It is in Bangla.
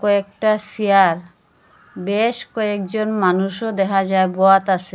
কয়েকটা সেয়ার বেশ কয়েকজন মানুষও দেহা যায় বোয়াত আসে ।